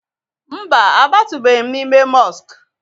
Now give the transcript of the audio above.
Mba, abatụbeghi m n'ime mọsk